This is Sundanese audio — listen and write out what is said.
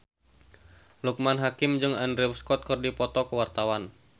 Loekman Hakim jeung Andrew Scott keur dipoto ku wartawan